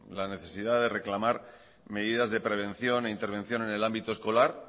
la necesidad de proclamar medidas de prevención e intervención en el ámbito escolar